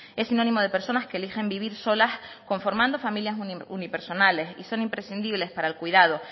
es sinónimo de personas que eligen vivir solas conformando familias unipersonales y son imprescindibles para el cuidado